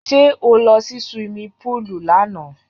Sẹ́ ó lọ sí suwimi púùlù lánàá?